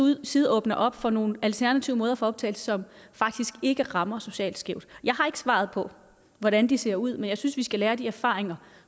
side åbner op for nogle alternative måder for optagelse som faktisk ikke rammer socialt skævt jeg har ikke svaret på hvordan de ser ud men jeg synes vi skal lære af de erfaringer